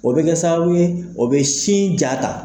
O be kɛ sababu ye, o be sin ja ta.